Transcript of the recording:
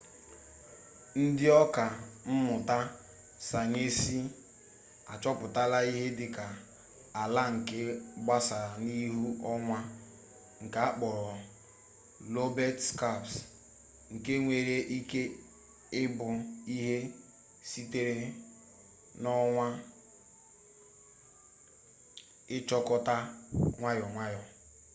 ndị ọka mmụta sayensị achọpụtala ihe dịka ala nke gbasara n'ihu onwa nke akpọrọ lobet skaps nke nwere ike ịbụ ihe sitere n'ọnwa ịchịkọta nwayọ nwayọ